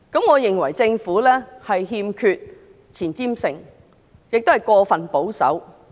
我認為政府欠缺前瞻性，亦過分保守。